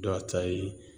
Dɔ ta ye